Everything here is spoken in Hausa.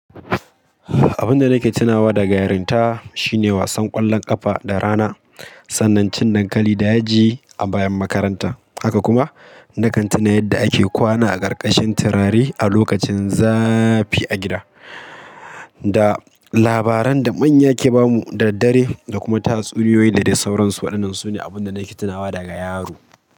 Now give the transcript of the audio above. Abun da nake tunawa daga yarinta, shine wasan ƙwallon ƙafa da rana, sanin cin dankali da yaji a bayan makaranta, haka kuma nakan tuna yadda ake kwana a ƙarƙashin turare a lokacin zafi a gida. Da, labaran da manya ke bamu da dare da kuma tatsuniyoyi da dai sauransu waɗannan su ne abun da nake tunawa daga yaro.